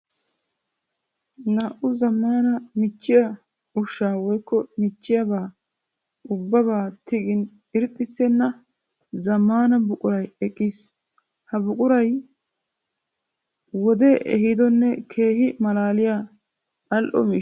Naa''u zamaana michchiya ushsha woykko michchiya ubbaba tiggin irxxissenna zamaana buquray eqqiis. Ha buquray wode ehiidonne keehi malaalliya ali'o miishsha.